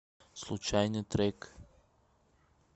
случайный трек